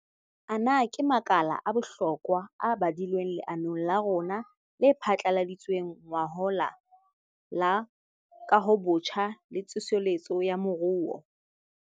Ana ke makala a bohlokwa a badilweng leanong la rona le phatlaladitsweng ngwahola la Kahobotjha le Tsoseletso ya Moruo.